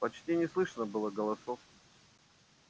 почти не слышно было голосов